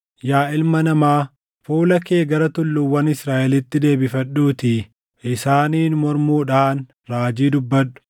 “Yaa ilma namaa, fuula kee gara tulluuwwan Israaʼelitti deebifadhuutii isaaniin mormuudhaan raajii dubbadhu;